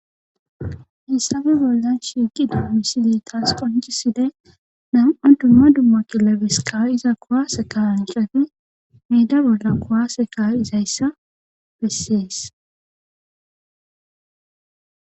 hessabe bollan shiiqi dumisidey taas qonchiside nam7a dumma dumma killabeskaw iza kuwaase kaancati meeda bolla kowase kaw izayssa bessees